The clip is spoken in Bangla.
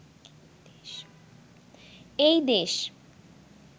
এই দেশ